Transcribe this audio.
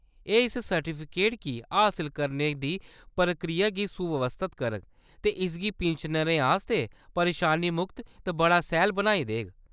एह्‌‌ इस सर्टिफिकेट गी हसल करने दी प्रक्रिया गी सुव्यवस्थत करग ते इसगी पिन्शनरें आस्तै परेशानी मुक्त ते बड़ा सैह्‌ल बनाई देग।